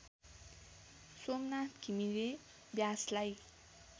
Somnath Ghimire व्यासलाई